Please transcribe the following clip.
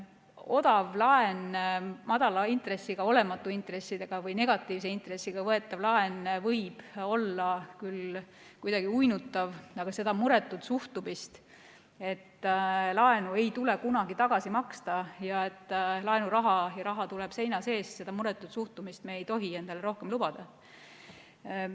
Odav laen, madala intressiga, olematu intressiga või negatiivse intressiga võetav laen võib olla küll kuidagi uinutav, aga seda muretut suhtumist, et laenu ei tule kunagi tagasi maksta ja et raha tuleb seina seest, me ei tohi endale rohkem lubada.